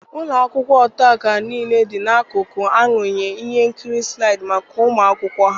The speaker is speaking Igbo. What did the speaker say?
Ụlọ akwụkwọ ọta akara niile dị n'akụkụ m arụnyela ihe nkiri nslaịdị maka ụmụ akwụkwọ ha.